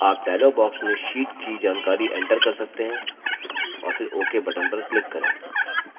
आप dialog box में sheet की जानकारी enter कर सकते हैं और फिर ok button पर click करें